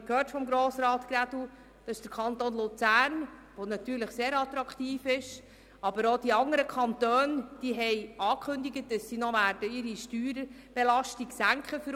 Wir haben vorhin von Grossrat Grädel gehört, dass der natürlich sehr attraktive Kanton Luzern, aber auch andere Kantone angekündigt haben, dass sie die Unternehmenssteuern senken werden.